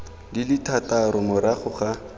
di le thataro morago ga